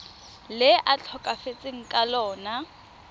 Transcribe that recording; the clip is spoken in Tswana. le a tlhokafetseng ka lona